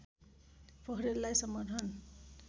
पोखरेललाई समर्थन